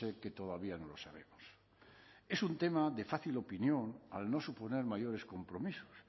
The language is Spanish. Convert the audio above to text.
que todavía no lo sabemos es un tema de fácil opinión al no suponer mayores compromisos